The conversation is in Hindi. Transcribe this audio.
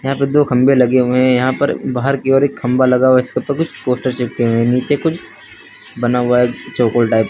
यहां पे दो खंबे लगे हुए हैं यहां पर बाहर की ओर एक खंभा लगा हुआ है इसपे कुछ पोस्टर चिपके हुए हैं नीचे कुछ बना हुआ है चौकोर टाइप ।